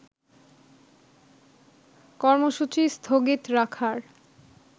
কর্মসূচী স্থগিত রাখার